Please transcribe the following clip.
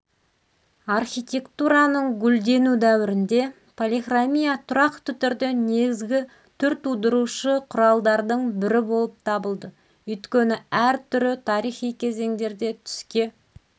архитектураның гүлдену дәуірінде полихромия тұрақты түрде негізгі түртудырушы құралдардың бірі болып табылды өйткені әр түрі тарихи кезендерде түске